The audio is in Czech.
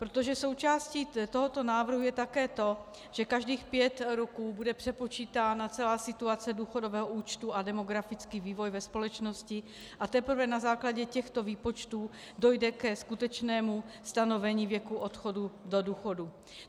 Protože součástí tohoto návrhu je také to, že každých pět roků bude přepočítána celá situace důchodového účtu a demografický vývoj ve společnosti a teprve na základě těchto výpočtů dojde ke skutečnému stanovení věku odchodu do důchodu.